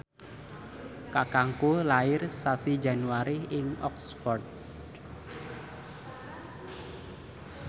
kakangku lair sasi Januari ing Oxford